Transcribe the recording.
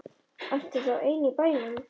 Ertu þá ein í bænum?